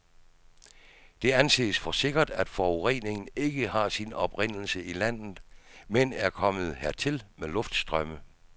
Det anses for sikkert, at forureningen ikke har sin oprindelse i landet, men er kommet dertil med luftstrømme.